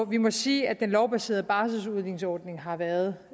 vi må sige at den lovbaserede barseludligningsordning har været